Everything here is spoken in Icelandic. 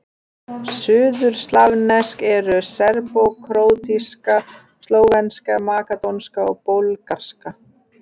Suðurslavnesk eru: serbókróatíska, slóvenska, makedónska og búlgarska.